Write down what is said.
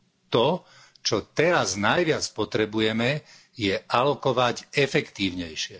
To, čo teraz najviac potrebujeme, je alokovať efektívnejšie.